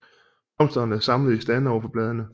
Blomsterne er samlet i stande overfor bladene